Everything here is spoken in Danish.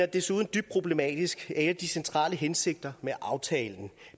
desuden dybt problematisk at en af de centrale hensigter med aftalen